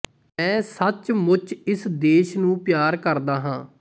ਮੈਂ ਸੱਚਮੁੱਚ ਇਸ ਦੇਸ਼ ਨੂੰ ਪਿਆਰ ਕਰਦਾ ਹਾਂ